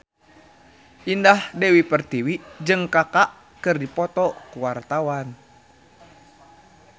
Indah Dewi Pertiwi jeung Kaka keur dipoto ku wartawan